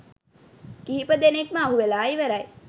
කිහිප දෙනෙක්ම අහුවෙලා ඉවරයි